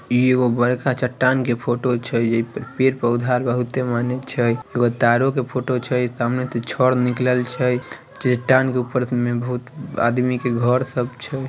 इ एगो बड़का चट्टान के फोटो छे पेड़-पौधा बहुत मायने छे एगो तारो के फोटो छे सामने से छरो निकलो छे चट्टान के ऊपर आदमी सब के घर छू |